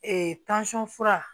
fura